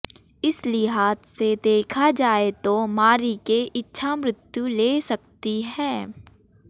इस लिहाज से देखा जाए तो मारीके इच्छामृत्यु ले सकती हैं